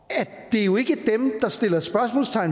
at det jo ikke